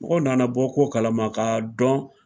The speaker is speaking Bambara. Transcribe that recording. Mɔgɔ nana bɔ ko kalama ka dɔn.